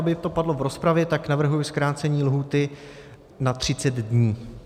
Aby to padlo v rozpravě, tak navrhuji zkrácení lhůty na 30 dní.